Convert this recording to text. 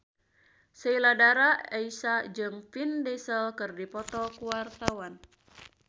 Sheila Dara Aisha jeung Vin Diesel keur dipoto ku wartawan